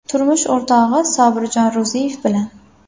Turmush o‘rtog‘i Sobirjon Ro‘ziyev bilan.